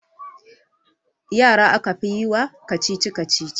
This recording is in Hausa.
Yara aka fi yi wa kacici-kacici